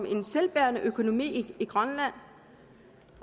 en selvbærende økonomi i grønland